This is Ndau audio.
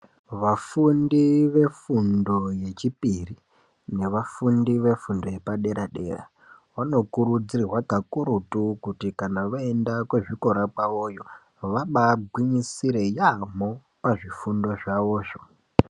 Vafundi vefundo yechipiri navafundi vefundo yapadera dera vanokurudzirwa kakuruti kuti kana voenda dera kwezvikora kwavoyo vaba gwinyisirei yamho pazvifundo zvavozvo.